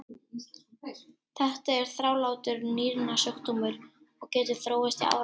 Þetta er þrálátur nýrnasjúkdómur og getur þróast í áratugi.